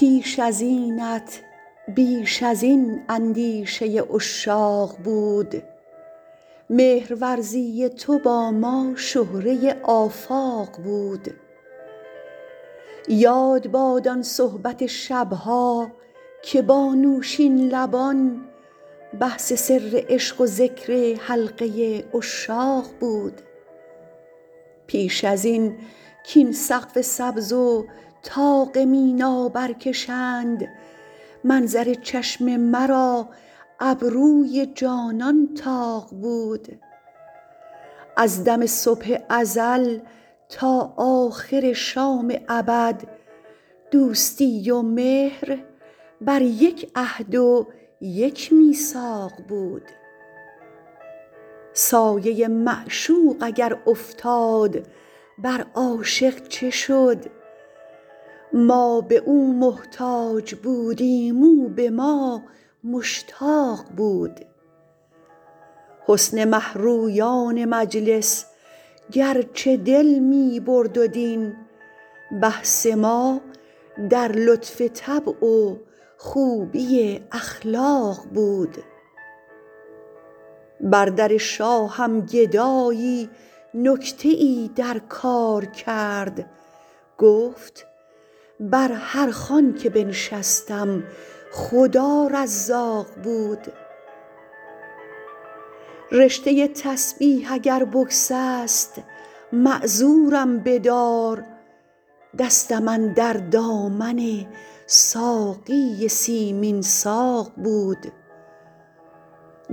پیش از اینت بیش از این اندیشه عشاق بود مهرورزی تو با ما شهره آفاق بود یاد باد آن صحبت شب ها که با نوشین لبان بحث سر عشق و ذکر حلقه عشاق بود پیش از این کاین سقف سبز و طاق مینا برکشند منظر چشم مرا ابروی جانان طاق بود از دم صبح ازل تا آخر شام ابد دوستی و مهر بر یک عهد و یک میثاق بود سایه معشوق اگر افتاد بر عاشق چه شد ما به او محتاج بودیم او به ما مشتاق بود حسن مه رویان مجلس گرچه دل می برد و دین بحث ما در لطف طبع و خوبی اخلاق بود بر در شاهم گدایی نکته ای در کار کرد گفت بر هر خوان که بنشستم خدا رزاق بود رشته تسبیح اگر بگسست معذورم بدار دستم اندر دامن ساقی سیمین ساق بود